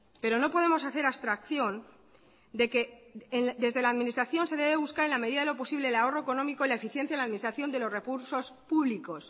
pero no podemos hacer abstracción de que desde la administración se debe buscar en la medida de lo posible el ahorro económico y la eficiencia de la administración de los recursos públicos